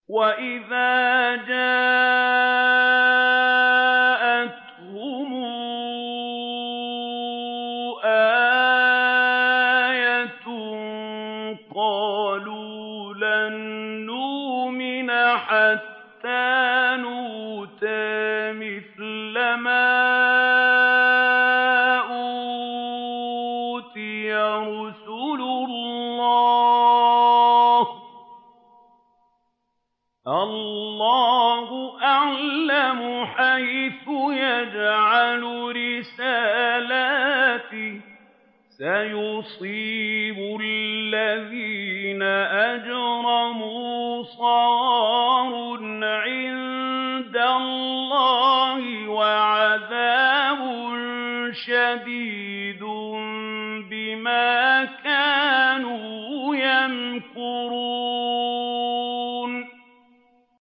وَإِذَا جَاءَتْهُمْ آيَةٌ قَالُوا لَن نُّؤْمِنَ حَتَّىٰ نُؤْتَىٰ مِثْلَ مَا أُوتِيَ رُسُلُ اللَّهِ ۘ اللَّهُ أَعْلَمُ حَيْثُ يَجْعَلُ رِسَالَتَهُ ۗ سَيُصِيبُ الَّذِينَ أَجْرَمُوا صَغَارٌ عِندَ اللَّهِ وَعَذَابٌ شَدِيدٌ بِمَا كَانُوا يَمْكُرُونَ